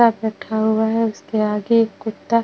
उसके आगे एक कुत्ता --